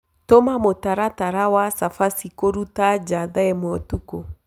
tuma mũtaratara wa chabachĩ kũrũta ja thaaĩmweũtũkũ